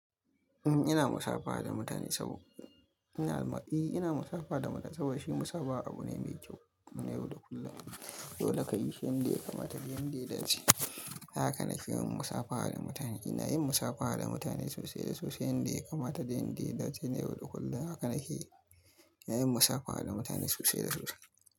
Eh ina musabaha da mutane saboda shi musabaha abu ne mai kyau na yau da kullum. Yau da ka yi yanda yakamata yanda ya dace. Haka na ke yin musabaha da mutane. Ina yin musabaha da mutane sosai da sosai. Yanda yakamata yanda ya dace na yau da kullum. Haka na ke, ina yin musafaha da mutane sosai da sosai.